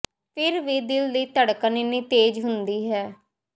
ਫਿਰ ਵੀ ਦਿਲਾਂ ਦੀ ਧੜਕਨ ਇੰਨੀ ਤੇਜ਼ ਹੁੰਦੀ ਹੈ